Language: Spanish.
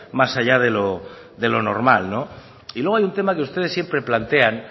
más allá de lo normal y luego hay un tema que ustedes siempre plantean